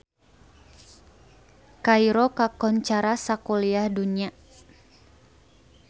Kairo kakoncara sakuliah dunya